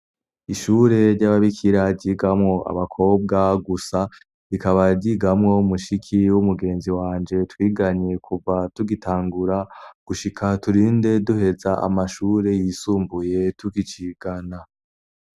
Ishure ry'ababikira ryigamwo abakobwa gusa, rikaba ryigamwo mushiki w'umugenzi wanje twiganye kuva tugitangura gushika turinde duheza amashure yisumbuye, tukicigana.